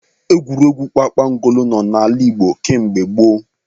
Egwuregwu kpakpangolo nọ n'ala Igbo kemgbe gboo.